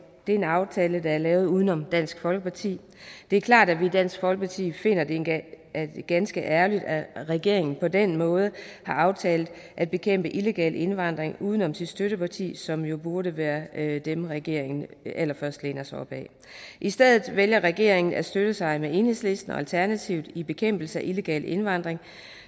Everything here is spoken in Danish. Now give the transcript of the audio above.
er en aftale der er lavet uden om dansk folkeparti det er klart at vi i dansk folkeparti finder det ganske ærgerligt at regeringen på den måde har aftalt at bekæmpe illegal indvandring uden om sit støtteparti som jo burde være dem regeringen allerførst læner sig op ad i stedet vælger regeringen at støtte sig med enhedslisten og alternativet i bekæmpelse af illegal indvandring